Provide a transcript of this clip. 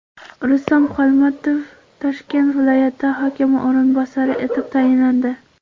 Rustam Xolmatov Toshkent viloyati hokimi o‘rinbosari etib tayinlandi.